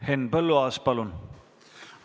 Henn Põlluaas, palun!